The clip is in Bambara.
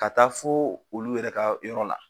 Ka taa fo olu yɛrɛ ka yɔrɔ la,